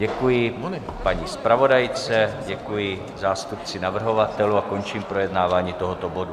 Děkuji paní zpravodajce, děkuji zástupci navrhovatelů a končím projednávání tohoto bodu.